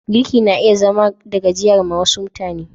Girki na iya zama da gajiya ma wasu mutane.